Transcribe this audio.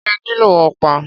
Ṣé ẹ nílò ọ̀pá?